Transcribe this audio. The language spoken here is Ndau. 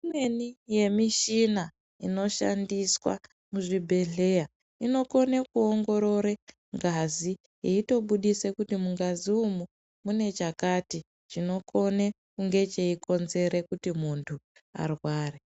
Imweni yemishina inoshandiswa muzvibhehleya inokone kuongorore ngazi eitobudise kuti mungazi umu mune chakati chinokone kunge cheikonzere kuti muntu arware.